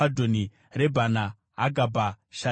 Rebhana, Hagabha, Sharimai,